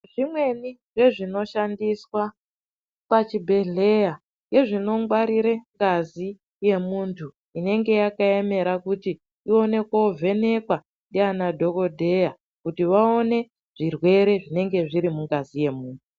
Zvimweni zvezvinoshandiswa pachibhedhlera ngezvinongwarire ngazi yemuntu inenge yakaemera kuti iende kunovhenekwa ndiyanadhokota kuto vaone zvirwere zvinenge zvirimungazi yemuntu.